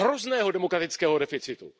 Hrozného demokratického deficitu.